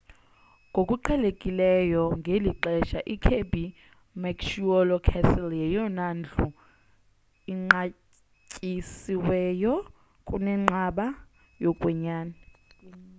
ngokuqhelekileyo ngeli xesha ikirby muxloe castle yeyona ndlu inqatyisiweyo kunenqaba yokwenyani